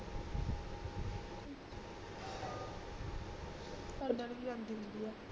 ਸਾਡੀ ਵਾਲੀ ਭੀ ਜਾਂਦੀ ਹੁੰਦੀ ਆ